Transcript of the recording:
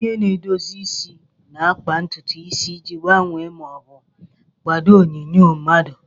Onye na-edozi isi na-akpa ntutu isi iji gbanwee ma ọ bụ kwadoo onyinyo mmadụ.